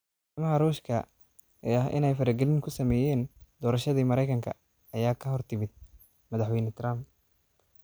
Eedeymaha Ruushka ee ah in ay faragelin ku sameeyeen doorashadii Mareykanka ayaa ka hortimid madaxweyne Trump.